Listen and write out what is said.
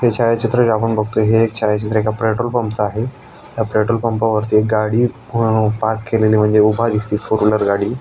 हे छायाचित्र आपण बगतोय कि हे छायाचित्र एका पॅट्रोल पम्प च आहे ह्या पॅट्रोल पम्पा वरती एक गाडी अ पार्क केलेली म्हणजे उभा दिसती फोरव्हिलर गाडी --